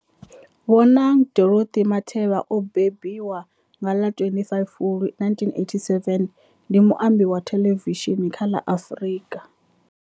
Bonang Dorothy Matheba o bebiwa nga ḽa 25 Fulwi 1987, ndi muambi wa thelevishini kha la Afrika.